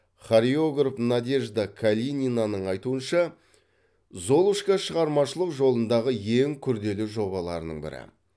хореограф надежда калининаның айтуынша золушка шығармашылық жолындағы ең күрделі жобаларының бірі